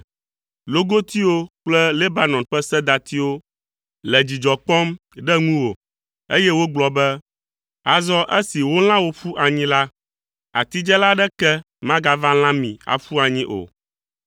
Logotiwo kple Lebanon ƒe sedatiwo le dzidzɔ kpɔm ɖe ŋu wò, eye wogblɔ be, “Azɔ esi wolã wo ƒu anyi la, atidzela aɖeke magava lã mi aƒu anyi o.”